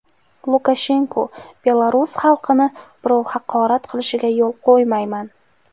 Lukashenko: Belarus xalqini birov haqorat qilishiga yo‘l qo‘ymayman.